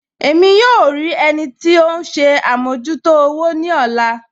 Ẹ̀mí yóò rí ẹnì tì ọ̀hun ṣè àmọ̀jútò òwò ni ọ̀lá